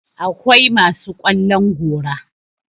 akwai masu ƙwallon gora